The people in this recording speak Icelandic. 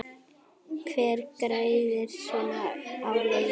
Hver græðir á svona leik?